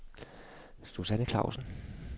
Susanne Klausen